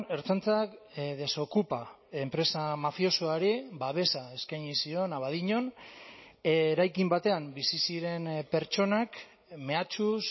ertzaintzak desokupa enpresa mafiosoari babesa eskaini zion abadiñon eraikin batean bizi ziren pertsonak mehatxuz